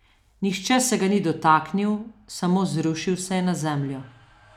Nihče se ga ni dotaknil, samo zrušil se je na zemljo.